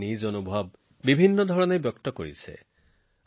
দেশবাসীয়ে বিভিন্ন ধৰণেৰে নিজৰ চিন্তাধাৰা প্ৰকাশ কৰিছে